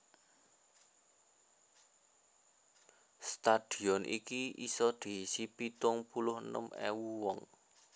Stadhion iki isa diisi pitung puluh enem ewu wong